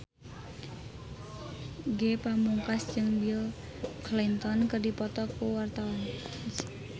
Ge Pamungkas jeung Bill Clinton keur dipoto ku wartawan